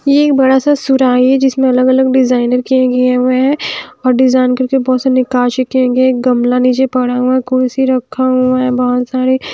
ये एक बड़ा सा सुराही है जिसमें अलग अलग डिजाइनर किए गए हुए है और डिजाइन करके बहोत सारे निकासी किए गए एक गमला नीचे पड़ा हुआ कुर्सी रखा हुआ है बहोत सारे--